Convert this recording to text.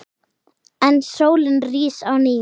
En sólin rís á ný.